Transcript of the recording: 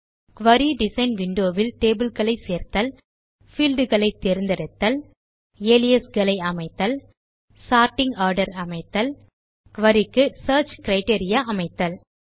குரி design window வில் tables சேர்த்தல் fields ஐ தேர்ந்தெடுத்தல் அலியாசஸ் அமைத்தல் சோர்ட்டிங் ஆர்டர் அமைத்தல் குரி க்கு சியர்ச் கிரைட்டீரியா அமைத்தல்